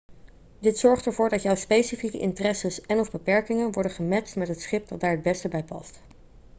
dit zorgt ervoor dat jouw specifieke interesses en/of beperkingen worden gematcht met het schip dat daar het beste bij past